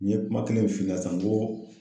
N ye kuma kelen min f'i ɲɛna sisan n ko